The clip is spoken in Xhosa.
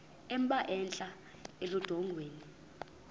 emba entla eludongeni